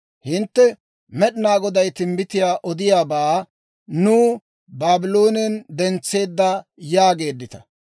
Hintte, «Med'inaa Goday timbbitiyaa odiyaabaa nuw Baabloonen dentseedda yaageeddita.